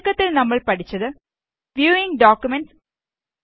ചുരുക്കത്തില് നമ്മള് പഠിച്ചത് വ്യൂവിംഗ് ഡോക്കുമെന്റ്സ്